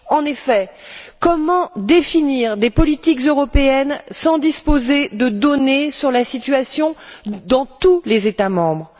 En effet, comment définir des politiques européennes sans disposer de données sur la situation dans tous les États membres?